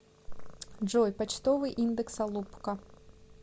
джой почтовый индекс алупка